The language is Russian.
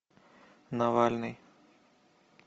навальный